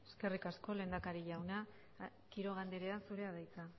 eskerrik asko lehendakari jauna quiroga andrea zurea da hitza